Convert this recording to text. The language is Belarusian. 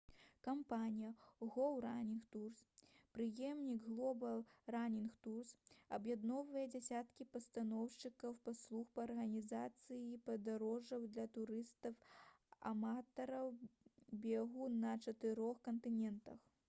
кампанія «гоў ранінг турс» пераемнік «глобал ранінг турс» аб'ядноўвае дзесяткі пастаўшчыкоў паслуг па арганізацыі падарожжаў для турыстаў-аматараў бегу на чатырох кантынентах